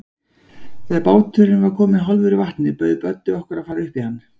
Þegar báturinn var kominn hálfur í vatnið, bauð Böddi okkur að fara upp í hann.